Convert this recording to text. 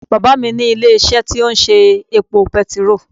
Bàbá à mí ní ilé isé tí ó ń ṣe epo petiró